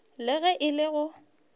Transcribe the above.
le ge e le go